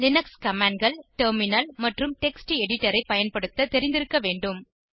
Linux commandகள் terminal மற்றும் text எடிடரை பயன்படுத்த தெரிந்திருக்க வேண்டும்